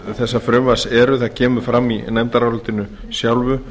þessa frumvarps eru það kemur fram í nefndarálitinu sjálfu